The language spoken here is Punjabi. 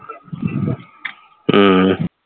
ਹਮ